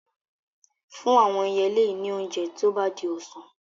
Fún àwọn ẹyẹlé yìí ní oúnjẹ tó bá di ọ̀sán.